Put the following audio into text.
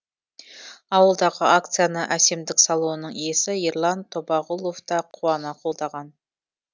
ауылдағы акцияны әсемдік салонының иесі ерлан тобағұлов та қуана қолдаған